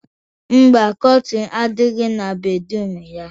Mba, kọtịn adighọ na bedruum ya.